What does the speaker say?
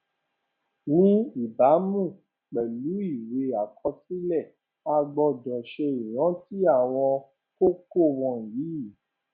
ní ìbámu pèlú ìwé àkọsílẹ a gbọdọ ṣe ìrántí àwọn kókó wọnyí